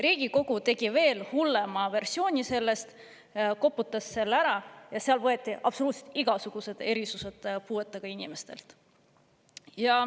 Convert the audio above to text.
Riigikogu tegi veel hullema versiooni sellest, koputas selle ära, ja sellega võeti absoluutselt igasugused erisused puuetega inimestelt.